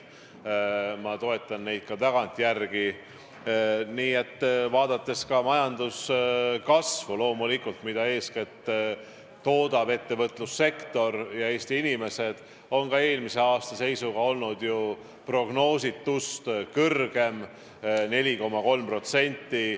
Ma toetan neid ka tagantjärele, just vaadates ka majanduskasvu, mida eeskätt toodab ettevõtlussektor ja toodavad Eesti inimesed: see oli eelmisel aastal ju prognoositust kõrgem, 4,3%.